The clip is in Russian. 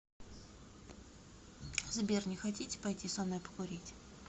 сбер не хотите пойти со мной покурить